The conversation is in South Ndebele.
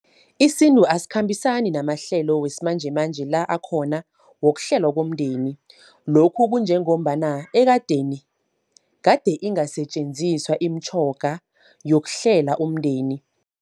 Isintu asikhambisani namahlelo wesimanjemanje la akhona, wokuhlelwa komndeni. Lokhu kunjengombana ekadeni, kade ingasetjenziswa imitjhoga yokuhlela umndeni.